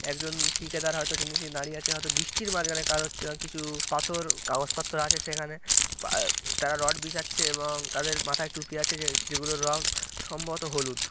একজন ঠিকাদার হয়তো তিনি দাঁড়িয়ে আছে হয়তো বৃষ্টির মাঝখানে কাজ হচ্ছে কিছু-উ পাথর কাগজপত্র আছে সেখানে। পা তারা রড বিছাচ্ছে এবং তাদের মাথায় টুপি আছে যে যেগুলোর রং সম্ভবত হলুদ।